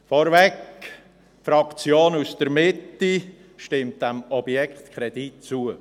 Vorneweg, die Fraktion aus der Mitte stimmt diesem Objektkredit zu.